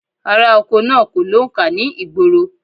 Aráoko náà kò lóǹkà ni ìgboro